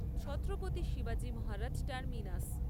ছত্রপতি শিবাজী মহারাজ টার্মিনাস